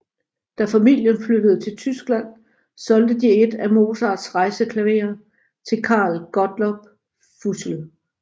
Da familien flyttede til Tyskland solgte de et af Mozarts rejseklaverer til Carl Gottlob Füssel